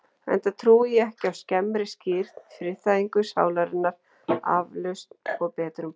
Enda trúi ég ekki á skemmri skírn, friðþægingu sálarinnar, aflausn og betrumbót.